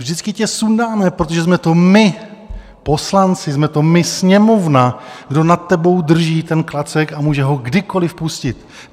Vždycky tě sundáme, protože jsme to my, poslanci, jsme to my, Sněmovna, kdo nad tebou drží ten klacek a může ho kdykoliv pustit.